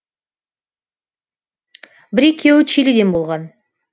бір екеуі чилиден болған